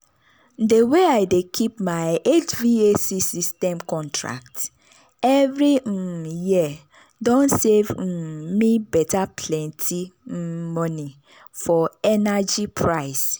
de way i dey keep my hvac system contract every um year don save um me beta plenty um money for energy price.